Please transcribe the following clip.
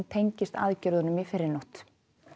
tengist aðgerðunum í fyrrinótt